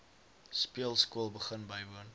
speelskool begin bywoon